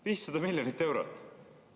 500 miljonit eurot!